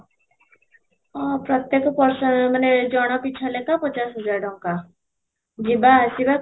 ହଁ, ପ୍ରତ୍ୟେକ person ମାନେ ଜଣ ପିଛା ଲେଖା ପଚାଶ ହଜାର ଟଙ୍କା ଯିବା ଆସିବା କ'ଣ